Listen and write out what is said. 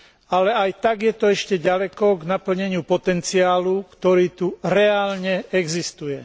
Ale aj tak je to ešte ďaleko k naplneniu potenciálu, ktorý tu reálne existuje.